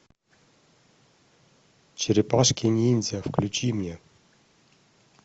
черепашки ниндзя включи мне